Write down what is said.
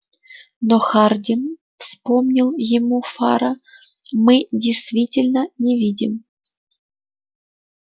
но хардин вспомнил ему фара мы действительно не видим